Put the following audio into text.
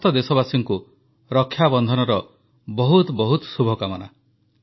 ସମସ୍ତ ଦେଶବାସୀଙ୍କୁ ରକ୍ଷାବନ୍ଧନର ବହୁତ ବହୁତ ଶୁଭକାମନା